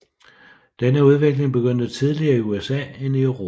Denne udvikling begyndte tidligere i USA end i Europa